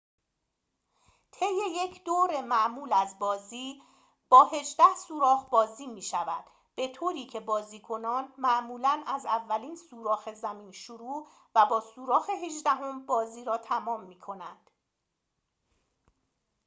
طی یک دور معمول از بازی با هجده سوراخ بازی می‌شود به‌طوری که بازیکنان معمولاً از اولین سوراخ زمین شروع و با سوراخ هجدهم بازی را تمام می‌کنند